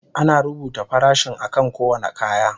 Ana rubuta farashin akan kowane kaya.